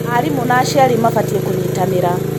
Aarimũ na aciari mabatiĩ kũnyitanĩra.